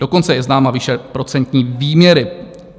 Dokonce je známa výše procentní výměry.